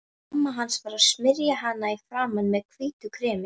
Mamma hans að smyrja hana í framan með hvítu kremi.